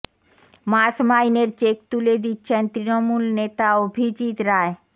মাস মাইনের চেক তুলে দিচ্ছেন তৃণমূল নেতা অভিজিৎ রায়